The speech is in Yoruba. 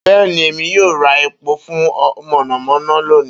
Beeni, Emi yoo ra epo fun monomono loni.